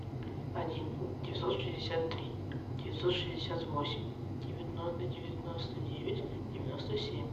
один девятьсот шестьдесят три девятьсот шестьдесят восемь девяносто девять девяносто семь